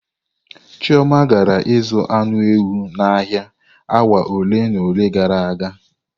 Chioma gara ịzụ anụ ewu n'ahịa awa ole na ole gara aga.